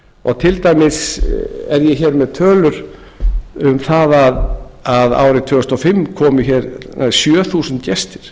og til dæmis er ég með tölur um það að árið tvö þúsund og fimm komu hér sjö þúsund gestir